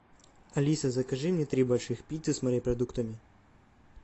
алиса закажи мне три больших пиццы с морепродуктами